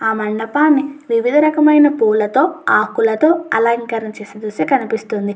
ఆ మండపాన్ని వివిధ రకమైన పూవులతో ఆకులతో అలంకరణ చేసినట్లు కనిపిస్తుంది.